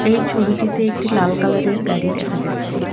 এই ছবিটিতে একটি লাল কালারের গাড়ি দেখা যাচ্ছে।